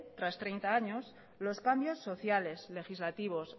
tras treinta años los cambios sociales legislativos